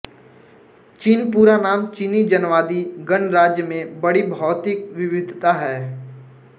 चीन पूरा नाम चीनी जनवादी गणराज्य में बड़ी भौतिक विविधता है